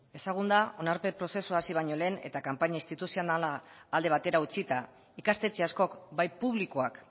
ezagun da onarpen prozesua hasi baino lehen eta kanpaina instituzionala alde batera utzita ikastetxe askok bai publikoak